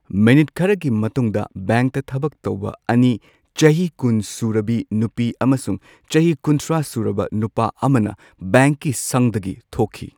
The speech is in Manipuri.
ꯃꯤꯅꯤꯠ ꯈꯔꯒꯤ ꯃꯇꯨꯡꯗ ꯕꯦꯡꯛꯇ ꯊꯕꯛ ꯇꯧꯕ ꯑꯅꯤ ꯆꯍꯤ ꯀꯨꯟ ꯁꯨꯔꯕ ꯅꯨꯄꯤ ꯑꯃꯁꯨꯡ ꯆꯍꯤ ꯀꯨꯟꯊ꯭ꯔꯥ ꯁꯨꯔꯕꯤ ꯅꯨꯄꯥ ꯑꯃꯅ ꯕꯦꯡꯛꯀꯤ ꯁꯪꯗꯒꯤ ꯊꯣꯛꯈꯤ꯫